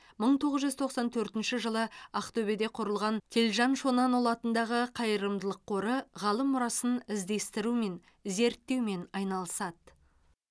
мың тоғыз жүз тоқсан төртінші жылы ақтөбеде құрылған телжан шонанұлы атындағы қайырымдылық қоры ғалым мұрасын іздестірумен зерттеумен айналысады